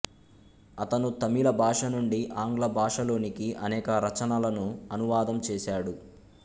అతను తమిళ భాష నుండి ఆంగ్ల భాషలోనికి అనేక రచనలను అనువాదం చేసాడు